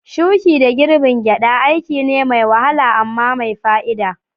Shuki da girbin gyada aiki ne mai wahala amma mai fa'ida.